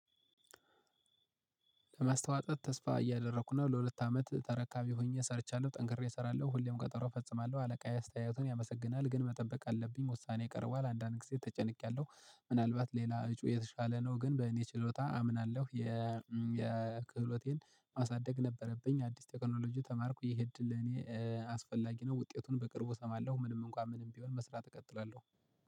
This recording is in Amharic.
ለማስተዋጸት ተስፋ እያደረኩ ነው። ለሁለት አመት ተረካቢ ሆኜ ሰርቻለሁ ጠንክሬ እሰራለሁ ሁሌም ቀጠሮ እፈጽማለሁ። አለቃዬ አስተያየቱን ያመሰግናል ግን መጠበቅ አለብኝ ውሳኔ ቀርቧል። አንዳንዴ ተጨንቄያለሁ ምናልባት ሌላ እጩ የተሻለ ነው። ግን በእኔ ችሎታ አምናለሁ የ የክህሎቴን ማሳደግ ነበረብኝ አዲስ ቴክኖሎጂ ተማርኩ ይሄ እድል ለኔ አስፈላጊ ነው። ውጤቱን በቅርቡ እሰማለሁ ምንም እንኳ ምንም ቢሆን መስራት እቀጥላለሁ